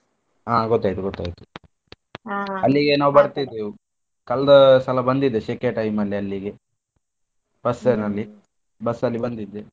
ಕಲ್ದ ಸಲ ಬಂದಿದ್ದೆ ಶೆಕೆ time ಅಲ್ಲಿ ಅಲ್ಲಿಗೆ bus ಅಲ್ಲಿ ಬಂದಿದ್ದೆ.